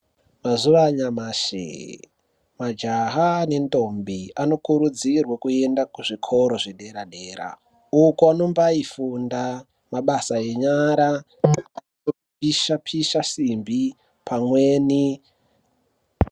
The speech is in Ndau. Mazuva anyamashi, majaha nendombi vokurudzirwa kuenda kuzvikoro zvedera-dera uko vanombaifunda mabasa enyara akaita sekupisha-pisha simbi pamweni.